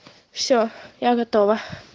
все я готова